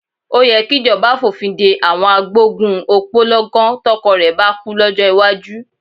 Ó yẹ kíjọba fòfin de àwọn agbógun òpó lọ́gán tọkọ rẹ bá kú, lọ́jọ́ iwájú.